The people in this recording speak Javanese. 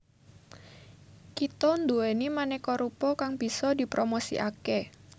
Kita duweni maneka rupa kang bisa dipromosikake